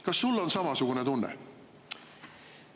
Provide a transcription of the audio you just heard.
Kas sul on samasugune tunne?